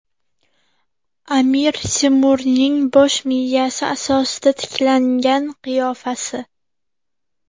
Amir Temurning bosh miyasi asosida tiklangan qiyofasi.